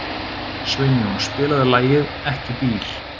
Sveinjón, spilaðu lagið „Ekki bíl“.